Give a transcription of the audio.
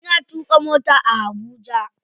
Ina tuƙa mota a Habuja.